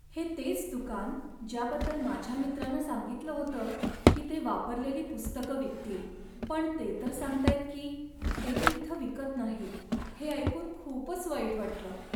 हे तेच दुकान, ज्याबद्दल माझ्या मित्रानं सांगितलं होतं की ते वापरलेली पुस्तकं विकतील, पण ते तर सांगतायत की ते ती इथं विकत नाहीत. हे ऐकून खूपच वाईट वाटलं.